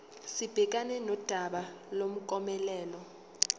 sibhekane nodaba lomklomelo